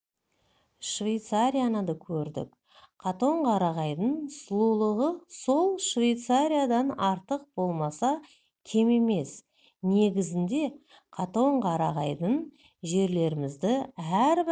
швейцарияны да көрдік қатонқарағайдың сұлулығы сол швейцариядан артық болмаса кем емес негізінде қатонқарағайдай жерлерімізді әрбір